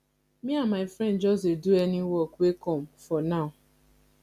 me and my friend just dey do any work wey come for now